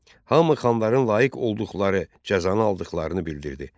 Hamı xanların layiq olduqları cəzanı aldıqlarını bildirirdi.